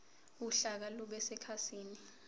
uhlaka lube sekhasini